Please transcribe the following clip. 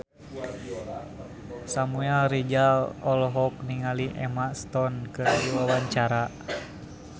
Samuel Rizal olohok ningali Emma Stone keur diwawancara